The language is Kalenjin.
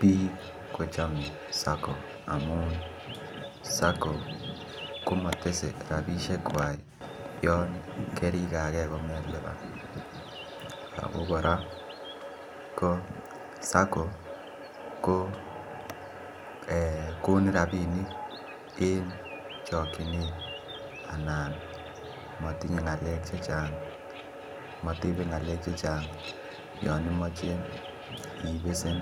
Bik kochome SACCOs amun SACCO ko komotese rabisiek kwak yon kerigage komelipan ako kora ko SACCO ko konin rabinik en chokyinet anan motinye ngalek Che Chang motebe ngalek Che Chang yon imoche ibesen